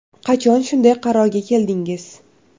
– Qachon shunday qarorga keldingiz?